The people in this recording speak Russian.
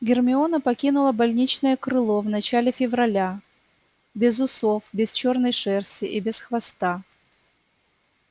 гермиона покинула больничное крыло в начале февраля без усов без чёрной шерсти и без хвоста